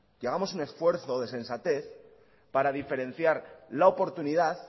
que hagamos un esfuerzo de sensatez para diferenciar la oportunidad